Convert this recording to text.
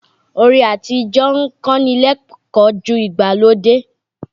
Orin àtíjọ́ ń kọ́ni lẹ́kọ̀ọ́ ju ìgbàlódé.